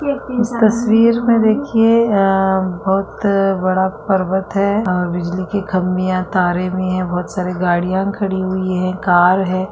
इस तस्वीर में देखिये आ बहोत बड़ा पर्वत है अ बिजली के खम्बे या तारे भी हैं बहोत सारी गड़ियाँ खड़ी हुई हैं कार है।